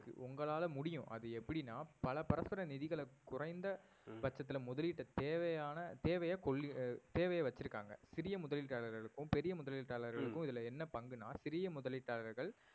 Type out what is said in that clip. உங்களால முடியும் அது எப்படின்னா பல பரஸ்பர நிதிகள குறைந்த பட்சத்தில முதலீட்டை தேவையான தேவைய கொள்ளி~ ஆஹ் தேவையை வச்சிருக்காங்க சிறிய முதலீட்டாளர்களுக்கும் பெரிய முதலீட்டாளர்களுக்கும் இதுல என்ன பங்குனா சிறிய முதலீட்டாளர்கள்